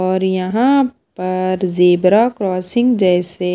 और यहां पर जेब्रा क्रॉसिंग जैसे--